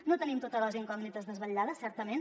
no tenim totes les incògnites desvetllades certament